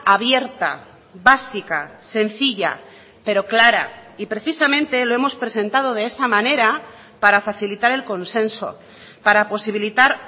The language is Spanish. abierta básica sencilla pero clara y precisamente lo hemos presentado de esa manera para facilitar el consenso para posibilitar